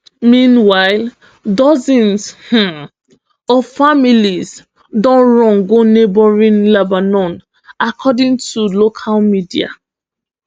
meanwhile dozens um of families don run go neighbouring lebanon according to local media